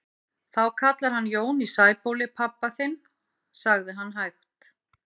Þú kallar hann Jón í Sæbóli pabba þinn, sagði hann hægt.